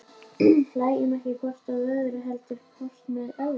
Hlæjum ekki hvort að öðru, heldur hvort með öðru.